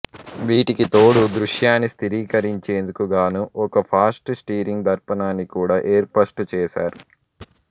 వీటికి తోడు దృశ్యాన్ని స్థిరీకరించేందుకు గాను ఒక ఫాస్ట్ స్టీరింగ్ దర్పణాన్ని కూడా ఏర్పస్టు చేసారు